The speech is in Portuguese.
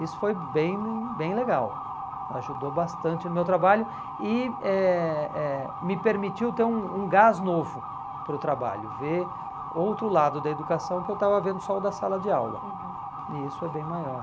Isso foi bem bem legal, ajudou bastante no meu trabalho e eh eh me permitiu ter um um gás novo para o trabalho, ver outro lado da educação que eu estava vendo só o da sala de aula, uhum, e isso é bem maior.